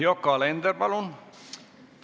Yoko Alender, palun!